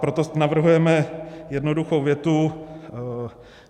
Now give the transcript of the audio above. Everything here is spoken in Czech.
Proto navrhujeme jednoduchou větu.